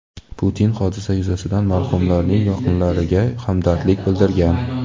Putin hodisa yuzasidan marhumlarning yaqinlariga hamdardlik bildirgan.